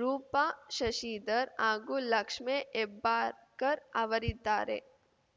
ರೂಪಾ ಶಶಿಧರ್‌ ಹಾಗೂ ಲಕ್ಷ್ಮೇ ಹೆಬ್ಬಾಳ್ಕರ್‌ ಅವರಿದ್ದಾರೆ